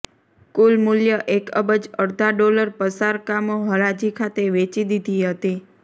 કુલ મૂલ્ય એક અબજ અડધા ડોલર પસાર કામો હરાજી ખાતે વેચી દીધી હતી